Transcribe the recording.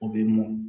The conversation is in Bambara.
O bɛ mɔn